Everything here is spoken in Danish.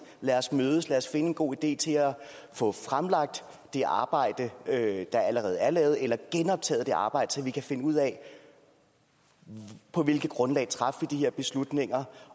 lad os mødes lad os finde en god idé til at få fremlagt det arbejde der allerede er lavet eller genoptaget det arbejde så vi kan finde ud af på hvilket grundlag vi traf de her beslutninger